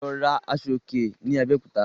Lọ rà Aṣọ òkè ni Abéòkúta